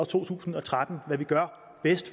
to tusind og tretten